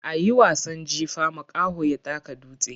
A yi wasan jifa, makaho ya taka dutse.